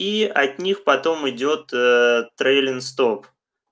и от них потом идёт ээ трэйлин стоп